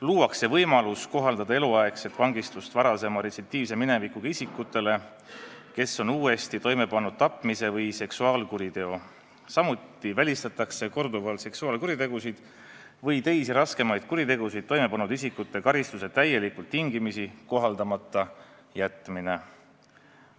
Luuakse võimalus kohaldada eluaegset vangistust varasema retsidiivse minevikuga isikutele, kes on uuesti toime pannud tapmise või seksuaalkuriteo, samuti välistatakse korduvalt seksuaalkuritegusid või teisi raskemaid kuritegusid toime pannud isikute karistuse täielikult tingimisi kohaldamata jätmine.